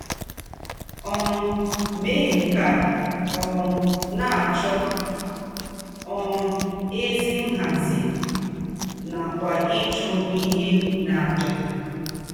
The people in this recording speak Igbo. um Ìmé nke a um na - achọ um ézì nhàzí nàkwà ịchụ íhè n’àjà.